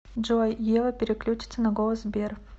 джой ева переключится на голос сбер